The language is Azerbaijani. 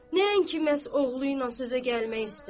Nəinki məhz oğlu ilə sözə gəlmək istəyirdi.